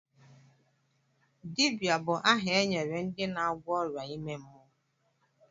Dibia bụ aha e nyere ndị na-agwọ ọrịa ime mmụọ.